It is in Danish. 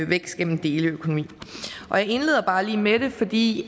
vækst gennem deleøkonomi jeg indleder bare lige med det fordi